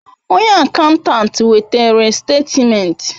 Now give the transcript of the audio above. Onye akantant wetere statimenti